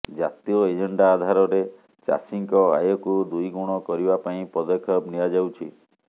ଜାତୀୟ ଏଜେଣ୍ଡା ଆଧାରରେ ଚାଷୀଙ୍କ ଆୟକୁ ଦୁଇ ଗୁଣ କରିବା ପାଇଁ ପଦକ୍ଷେପ ନିଆଯାଉଛି